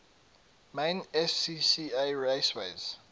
main scca raceways